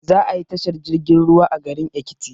Za ayi tashar jirgin ruwa a garin ekiti